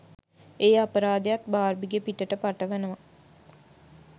ඒ අපරාධයත් බාර්බිගේ පිටට පටවනවා.